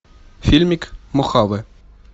фильмик мохаве